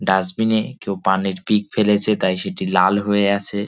Dustbin -এ কেউ পানের পিক ফেলেছে তাই সেটি লাল হয়ে আছে।